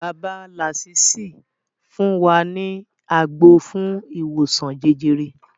Bàbá làsísì fún wa ní àgbo fún ìwòsan jẹjẹrẹ